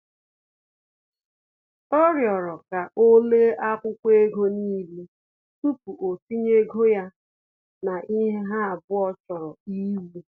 Ọ rịọrọ ka o lee akwụkwọ ego n'ile tupu o tinye ego ya na ihe ha abụọ chọrọ iwu